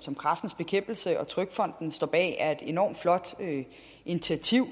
som kræftens bekæmpelse og trygfonden står bag er et enormt flot initiativ